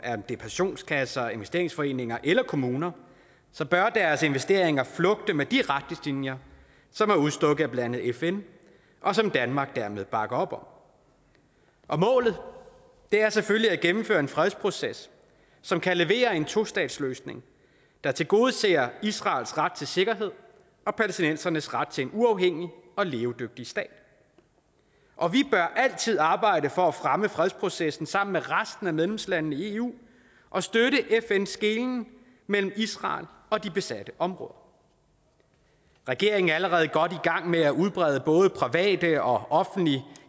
pensionskasser investeringsforeninger eller kommuner bør deres investeringer flugte med de retningslinjer som er udstukket af blandt andet fn og som danmark dermed bakker op om målet er selvfølgelig at gennemføre en fredsproces som kan levere en tostatsløsning der tilgodeser israels ret til sikkerhed og palæstinensernes ret til en uafhængig og levedygtig stat og vi bør altid arbejde for at fremme fredsprocessen sammen med resten af medlemslandene i eu og støtte fns skelnen mellem israel og de besatte områder regeringen er allerede godt i gang med at udbrede både private og offentlige